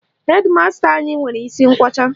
Hedi masta anyị nwere isi nkwọcha